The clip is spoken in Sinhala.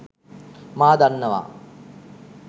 මා දන්නවා